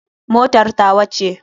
Motar tawa ce.